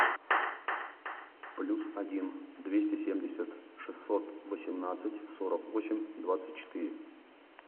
плюс один двести семьдесят шестьсот восемнадцать сорок восемь двадцать четыре